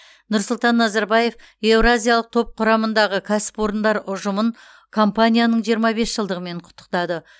нұрсұлтан назарбаев еуразиялық топ құрамындағы кәсіпорындар ұжымын компанияның жиырма бес жылдығымен құттықтады